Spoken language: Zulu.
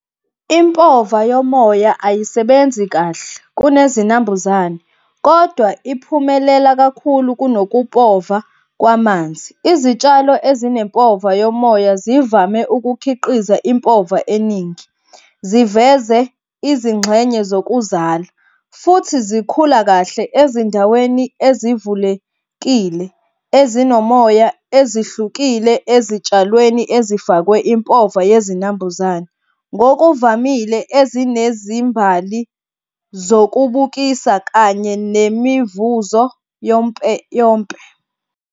Impova yomoya ayisebenzi kahle kunezinambuzane, kodwa iphumelela kakhulu kunokupova kwamanzi. Izitshalo ezinempova yomoya zivame ukukhiqiza impova eningi, ziveze izingxenye zokuzala, futhi zikhula kahle ezindaweni ezivulekile ezinomoya ezihlukile ezitshalweni ezifakwe impova yezinambuzane, ngokuvamile ezinezimbali zokubukisa kanye nemivuzo yompe.